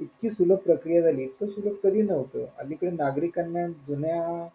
इतकी सुलभ प्रक्रिया झालीये इतकं सुलभ कधी नहुत अलीकडे नागरिकांना जुन्या,